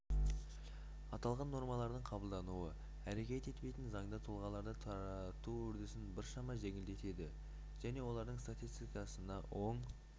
аталған нормалардың қабылдануы әрекет етпейтін заңды тұлғаларды тарату үрдісін біршама жеңілдетеді және олардың статистикасына оң